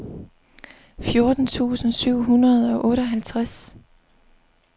fjorten tusind syv hundrede og otteoghalvtreds